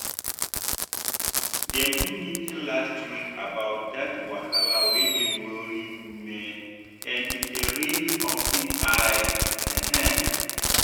dem do meeting last week about that wahala wey dey worry women and e really open eye. um